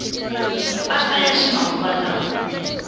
mpahla ya ximanguvalawa